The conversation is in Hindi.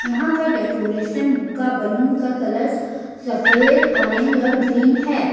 यहां का डेकोरेशन का बलून का कलर सफेद ऑरेंज और ग्रीन है।